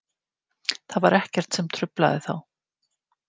Það var ekkert sem truflaði þá.